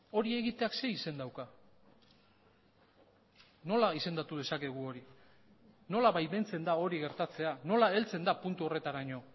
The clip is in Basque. hori egiteak ze izen dauka nola izendatu dezakegu hori nola baimentzen da hori gertatzea nola heltzen da puntu horretaraino